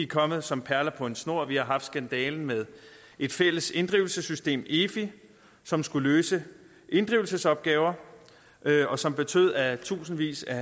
komme som perler på en snor vi har haft skandalen med et fælles inddrivelsessystem efi som skulle løse inddrivelsesopgaver og som betød at tusindvis af